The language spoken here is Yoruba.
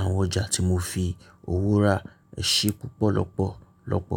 àwọn ọjà tí mo fi òwọ̀ e rá ṣẹ́ púpọ̀ lọ́pọ̀ lọ́pọ̀.